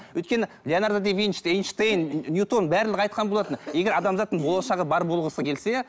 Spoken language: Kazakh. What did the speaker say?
өйткені леонардо да винчи да эйншейн ньютон барлығы айтқан болатын егер адамзаттың болашағы бар болғысы келсе